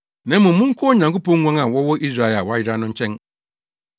na mmom monkɔ Onyankopɔn nguan a wɔwɔ Israel a wɔayera no nkyɛn.